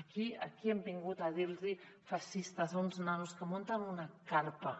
aquí hem vingut a dir los feixistes a uns nanos que munten una carpa